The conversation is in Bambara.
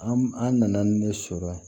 An an nana ne sɔrɔ yan